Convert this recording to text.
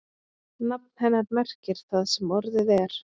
Nafn hennar merkir það sem orðið er.